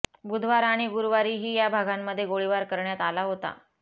बुधवार आणि गुरूवारीही या भागांमध्ये गोळीबार करण्यात आला होता